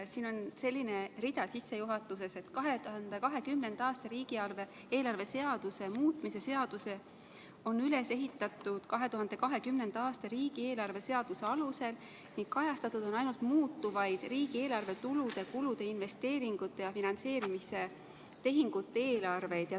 Siin on sissejuhatuses selline rida, et 2020. aasta riigieelarve seaduse muutmise seadus on üles ehitatud 2020. aasta riigieelarve seaduse alusel ning kajastatud on ainult muutuvaid riigieelarve tulude, kulude, investeeringute ja finantseerimistehingute eelarveid.